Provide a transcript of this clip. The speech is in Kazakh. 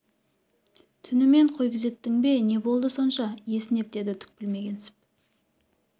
түнімен қой күзеттің бе не болды сонша есінеп деді түк білмегенсіп